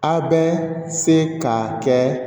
A bɛ se ka kɛ